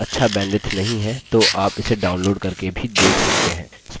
यदि आपके पास अच्छा bandwidth नहीं है तो आप इसे download करके भी देख सकते हैं